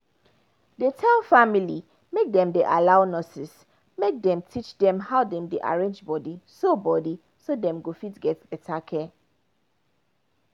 dey tell family make dem allow make nurses teach them how dem dey arrange body so body so dem go fit get better care